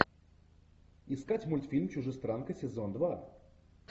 искать мультфильм чужестранка сезон два